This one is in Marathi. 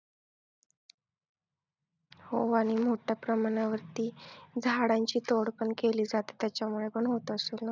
हो आणि मोठ्या प्रमाणावरती झाडांची तोड पण केली जाते त्याच्यामुळे पण होत असेल ना?